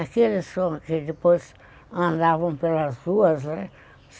Aqueles que depois andavam pelas ruas, né?